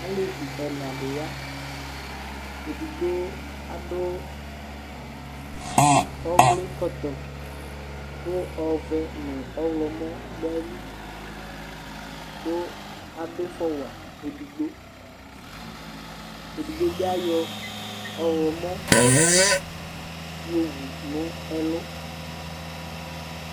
Alevi ɛna di ya Edigbo adʋ ɛwli kɔtɔe kʋ ɔvɛ nʋ ɔɣlɔmɔ dʋ ayili, kʋ adʋ ifɔ wa edigbo Edigbo bi ayɔ ɔɣlɔmɔ yo wu nʋ ɛlʋ